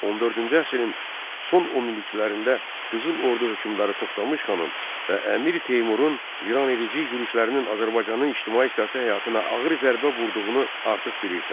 14-cü əsrin son onilliklərində Qızıl Ordu hökmdarı Toxmış xanın və Əmir Teymurun viranedici yürüşlərinin Azərbaycanın ictimai-siyasi həyatına ağır zərbə vurduğunu artıq bilirsən.